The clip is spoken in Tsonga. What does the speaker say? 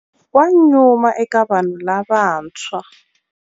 Wa nyuma eka vanhu lavantshwa.